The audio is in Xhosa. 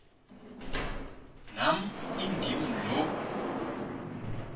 nam indim lo